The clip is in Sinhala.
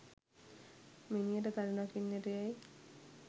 මිනියට තනි රකින්නට යැයි